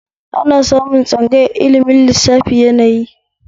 Ana samun tsangayar ilimin lissafin yanayi